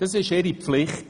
Das ist ihre Pflicht.